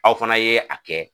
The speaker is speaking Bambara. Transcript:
Aw fana ye a kɛ